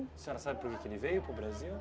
A senhora sabe por que ele veio para o Brasil?